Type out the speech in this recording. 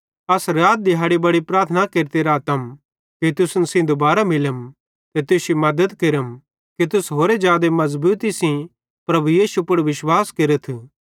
अस रात दिहाड़ी बड़ी प्रार्थना केरते रातम कि तुसन सेइं दुबारां मिलम ते तुश्शी मद्दत केरम कि तुस होरि जादे मज़बूती सेइं प्रभु यीशु पुड़ विश्वास केरथ